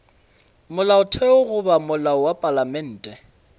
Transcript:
molaotheo goba molao wa palamente